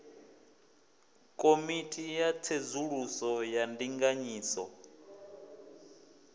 komiti ya tsedzuluso ya ndinganyiso